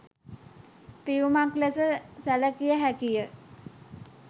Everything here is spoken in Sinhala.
පියුමක් ලෙස සැලකිය හැකිය